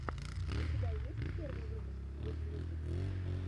у тебя есть первый выпуск гуд мьюзик